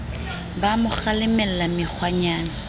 ha a mo kgalemella mekgwanyana